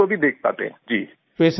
patient को भी देख पाते हैं जी